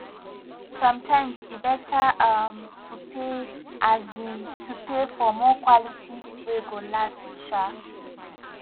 sometimes e better um to pay um to pay more for quality wey go last um